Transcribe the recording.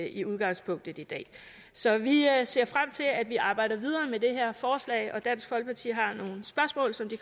i udgangspunktet i dag så vi ser frem til at vi arbejder videre med det her forslag dansk folkeparti har nogle spørgsmål som de